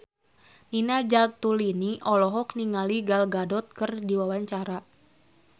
Nina Zatulini olohok ningali Gal Gadot keur diwawancara